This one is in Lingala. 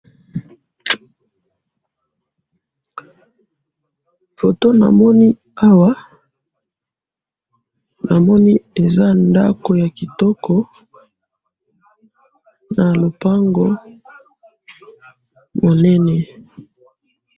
foto namoni awa namoni eza ndaku ya kitoko na lopango munene